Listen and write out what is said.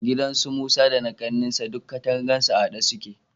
Gidan su Musa da na ƙannansa duk katangarsu a haɗe suke.